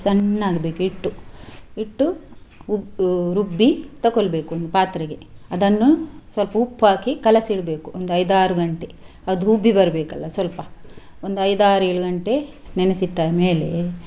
ಸಣ್ಣ ಆಗ್ಬೇಕು ಹಿಟ್ಟು, ಹಿಟ್ಟು ಉ~ ರುಬ್ಬಿ ತಕೊಳ್ಬೇಕು ಒಂದು ಪಾತ್ರೆಗೆ ಅದನ್ನು ಸ್ವಲ್ಪ ಉಪ್ಪು ಹಾಕಿ ಕಲಸಿಡ್ಬೇಕು ಒಂದು ಐದಾರು ಗಂಟೆ ಅದು ಉಬ್ಬಿ ಬರ್ಬೇಕಲ್ಲ ಸ್ವಲ್ಪ ಒಂದು ಐದಾರು ಏಳು ಗಂಟೆ ನೆನೆಸಿ ಇಟ್ಟ ಮೇಲೆ.